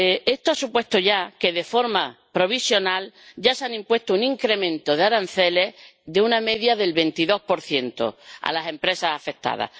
Esto ha supuesto ya que, de forma provisional, se haya impuesto un incremento de aranceles de una media del 22 a las empresas afectadas.